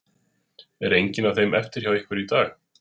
Er engin af þeim eftir hjá ykkur í dag?